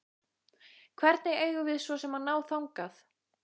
Hvernig eigum við svo sem að ná þangað?